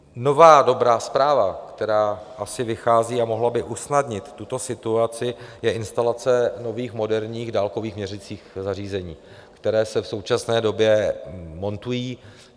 Nová dobrá zpráva, která asi vychází a mohla by usnadnit tuto situaci, je instalace nových moderních dálkových měřicích zařízení, která se v současné době montují.